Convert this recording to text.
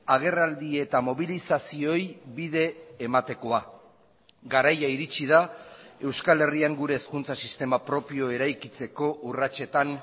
agerraldi eta mobilizazioei bide ematekoa garaia iritsi da euskal herrian gure hezkuntza sistema propio eraikitzeko urratsetan